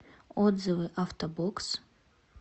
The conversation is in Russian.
отзывы авто бокс